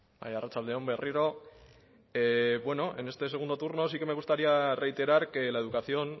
bai arratsalde on berriro bueno en este segundo turno sí que me gustaría reiterar que la educación